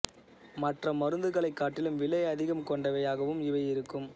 மற்ற மருந்துகலை காட்டிலும் விலை அதிகம் கொண்டவையாகவும் இவை இருக்கும்